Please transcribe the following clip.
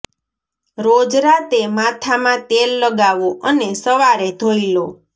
રોજ રાતે માથામાં તેલ લગાવો અને સવારે ધોઇ લો